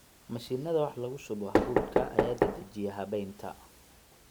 Mashiinnada wax lagu shubo hadhuudhka ayaa dedejiya habaynta.